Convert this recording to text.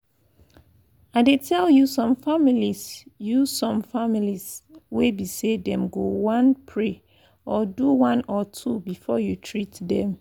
i dey tell you some families you some families wey be say them go one pray or do one or two before you treat them.